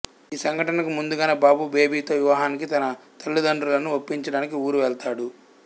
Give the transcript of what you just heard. ఈ సంఘటనకు ముందుగానే బాబు బేబితో వివాహానికి తన తల్లిదండ్రులను ఒప్పించడానికి ఊరువెళతాడు